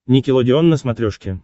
никелодеон на смотрешке